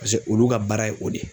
Paseke olu ka baara ye o de ye